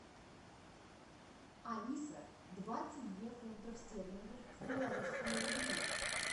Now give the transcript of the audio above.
алиса двадцать две фунтов стерлингов в белорусские рубли